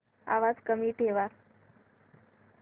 आवाज कमी ठेवा